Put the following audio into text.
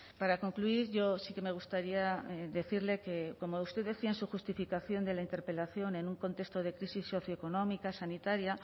para concluir yo sí que me gustaría decirle que como usted decía en su justificación de la interpelación en un contexto de crisis socioeconómica sanitaria